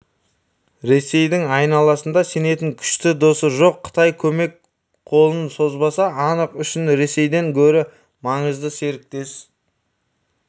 ресейдің айналасында сенетін күшті досы жоқ қытай көмек қолын созбасы анық үшін ресейден гөрі маңызды серіктес